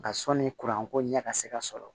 Nka sɔnni ko ɲɛ ka se ka sɔrɔ